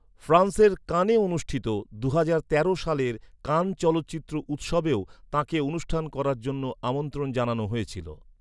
ফ্রান্সের কানে অনুষ্ঠিত দুহাজার তেরো সালের কান চলচ্চিত্র উৎসবেও তাঁকে অনুষ্ঠান করার জন্য আমন্ত্রণ জানানো হয়েছিল।